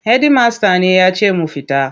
Hedimasta ne ya ce mu fita.